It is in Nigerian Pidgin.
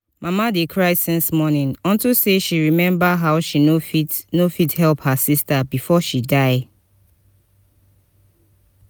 mama dey cry since morning unto say she remember how she no fit no fit help her sister before she die